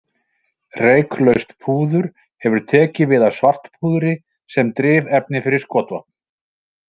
Reyklaust púður hefur tekið við af svartpúðri, sem drifefni fyrir skotvopn.